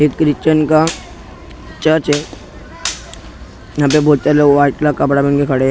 ये क्रिश्चन का चर्च हैं यहाँ पे बहुत सारे लोग व्हाईट कलर कपड़ा पहन के खड़े हैं।